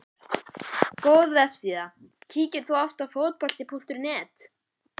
Góð vefsíða Kíkir þú oft á Fótbolti.net?